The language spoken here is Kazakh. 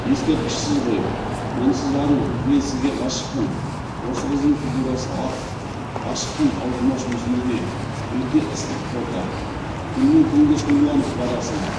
ескерткішсіз ғой мінсіз ару мен сізге ғашықпын осы қыздың фигурасы ат ғашықпын талдырмаш мүсініңе өте ыстық фото күннен күнге сұлуланып барасың